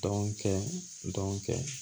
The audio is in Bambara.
Dɔn kɛ dɔn kɛ